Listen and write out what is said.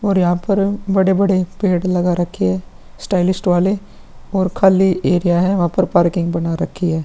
और यहाँ पर बड़े-बड़े पेड़ लगा रखे है स्टाइलिश वाले और खाली एरिया है वहाँ पर पार्किंग बना रखी है।